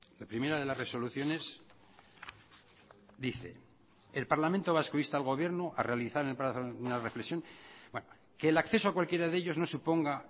la primera de las resoluciones dice el parlamento vasco insta al gobierno a realizar una reflexión que el acceso a cualquiera de ellos no suponga